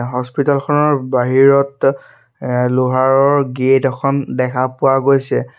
হস্পিতালখনৰ বাহিৰত লোহাৰৰ গেট এখন দেখা পোৱা গৈছে।